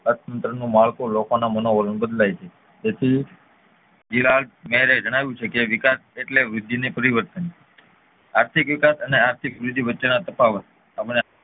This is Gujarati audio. અર્થતંત્ર નું માળખું લોકોના મનોવરણ બદલાય છે આથી એ જણાવ્યું છે કે વિકાસ એટલે વૃદ્ધિ અને પરિવર્તન. આર્થિક વિકાસ અને આર્થિક વૃદ્ધિ વચ્ચે ના તફાવત